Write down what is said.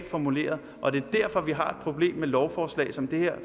formuleret og det er derfor vi har problem med lovforslag som det her